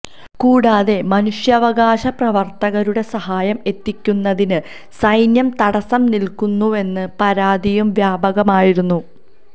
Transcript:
കൂടാതെ മനുഷ്യാവകാശ പ്രവര്ത്തകരുടെ സഹായം എത്തിക്കുന്നതിന് സൈന്യം തടസം നില്ക്കുന്നുവെന്ന പരാതിയും വ്യാപകമായിരുന്നു